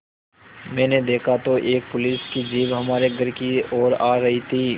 मैंने देखा तो एक पुलिस की जीप हमारे घर की ओर आ रही थी